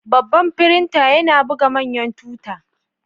Babban firinta yana buga manyan tuta.